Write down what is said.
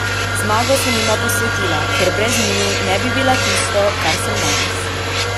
Zmago sem jima posvetila, ker brez njiju ne bi bila tisto, kar sem danes.